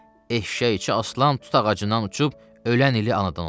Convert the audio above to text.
Eşşəyi iki aslan tut ağacından uçub ölən ili anadan olub.